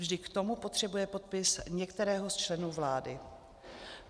Vždy k tomu potřebuje podpis některého z členů vlády.